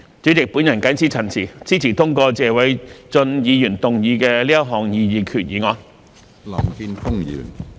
主席，我謹此陳辭，支持通過謝偉俊議員動議的這項擬議決議案。